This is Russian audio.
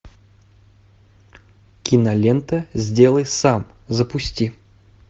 кинолента сделай сам запусти